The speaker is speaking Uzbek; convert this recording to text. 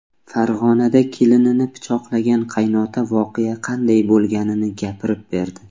Farg‘onada kelinini pichoqlagan qaynota voqea qanday bo‘lganini gapirib berdi .